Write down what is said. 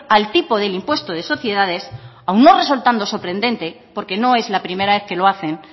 al tipo del impuesto de sociedades aun no resultando sorprendente porque no es la primera vez que lo hacen